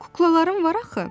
Kuklalarım var axı.